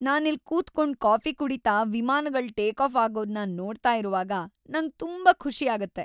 ನಾನಿಲ್ಲ್‌ ಕೂತ್ಕೊಂಡು ಕಾಫಿ ಕುಡೀತಾ ವಿಮಾನಗಳು ಟೇಕಾಫ್ ಆಗೋದ್ನ ನೋಡ್ತಾ ಇರುವಾಗ ನಂಗ್‌ ತುಂಬಾ ಖುಷಿ ಆಗತ್ತೆ.